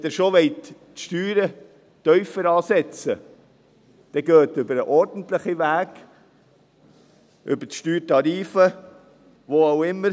Wenn Sie schon die Steuern tiefer ansetzen wollen, dann gehen Sie über den ordentlichen Weg, über die Steuertarife, wie auch immer.